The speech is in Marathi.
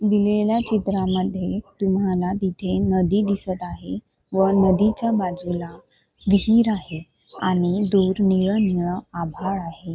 दिलेल्या चित्रामद्धे तुम्हाला तिथे नदी दिसत आहे व नदीच्या बाजूला विहीर आहे आणि दूर निळ निळ आभाळ आहे.